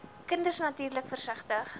kinders natuurlik versigtig